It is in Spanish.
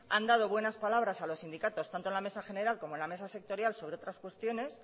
han dado buenas palabras a los sindicatos tanto a la mesa general como a la mesa sectorial sobre otras cuestiones